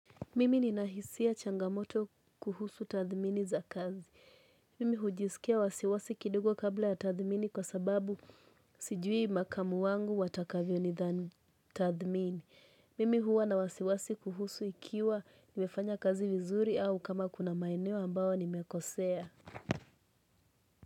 Mimi nina hisia changamoto kuhusu tathmini za kazi. Mimi hujisikia wasiwasi kidogo kabla ya tathmini kwa sababu sijui makamu wangu watakavyo nidhani tathmini. Mimi huwa na wasiwasi kuhusu ikiwa nimefanya kazi vizuri au kama kuna maenewo ambao nimekosea.